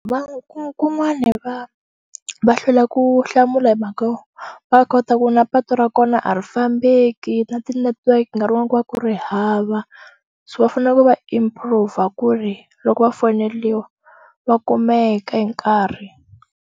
Ku kun'wani va va hlwela ku hlamula hi mhaka yo va kota ku na patu ra kona a ri fambeki na ti-network-i nkarhi wun'wani ku va ku ri hava so va fanele ku va improve ku ri loko va foneliwa va kumeka hi nkarhi.